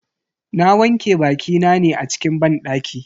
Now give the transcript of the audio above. Na wanke bakina ne a cikin banɗaki.